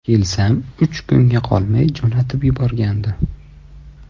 Kelsam uch kunga qolmay jo‘natib yuborgandi.